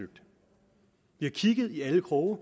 har kigget i alle kroge